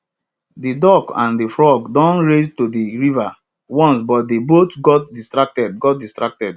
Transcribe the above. de duck and de frog don race to de river once but dem both got distracted got distracted